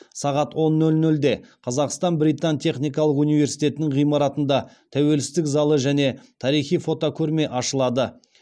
сағат он нөл нөлде қазақстан британ техникалық университетінің ғимаратында тәуелсіздік залы және тарихи фотокөрме ашылады